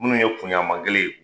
Minnu ye kunyanman kelen ye.